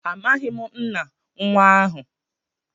Amaghim nna nwa ahu.